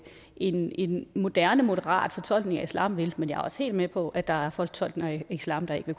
en en moderne moderat fortolkning af islam kan men jeg er også helt med på at der er fortolkninger af islam der ikke